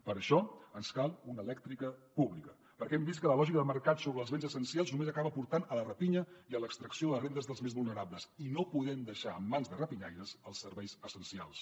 per això ens cal una elèctrica pública perquè hem vist que la lògica de mercat sobre els béns essencials només acaba portant a la rapinya i a l’extracció de les rendes dels més vulnerables i no podem deixar en mans de rapinyaires els serveis essencials